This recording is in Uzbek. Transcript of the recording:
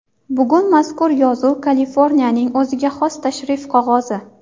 Bugun mazkur yozuv Kaliforniyaning o‘ziga xos tashrif qog‘ozi.